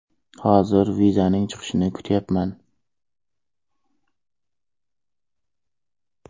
Hozir vizaning chiqishini kutyapman.